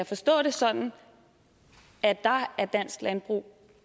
forstå det sådan at der er dansk landbrug